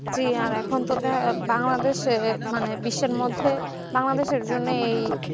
জি এখন তো দেখা বাংলাদেশের মানে বিশ্বের মধ্যে বাংলাদেশের জন্যেই